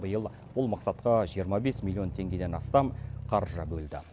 биыл бұл мақсатқа жиырма бес миллион теңгеден астам қаржы бөлді